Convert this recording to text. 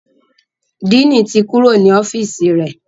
Diini tí Kúrò ní ọ́fíìsì rẹ.